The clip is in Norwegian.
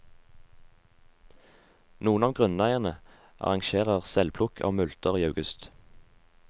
Noen av grunneierne arrangerer selvplukk av multer i august.